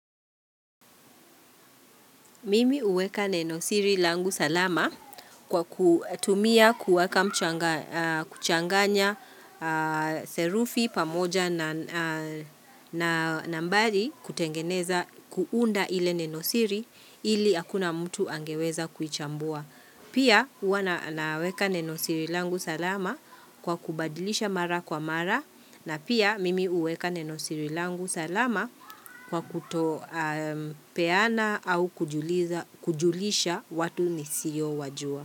Mimi huweka neno siri langu salama kwa kutumia kuweka kuchanganya serufi pamoja na na nambari kutengeneza kuunda ile neno siri ili hakuna mtu angeweza kuichambua. Pia huwa naweka neno sir ilangu salama kwa kubadilisha mara kwa mara na pia mimi huweka neno siri langu salama kwa kuto peana au kujulisha watu nisiyo wajua.